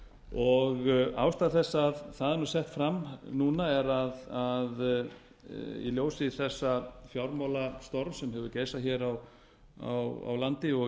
og ástæða þess að það er sett fram núna er að í ljósi þessa fjármálastorms sem hefur geisað hér á landi og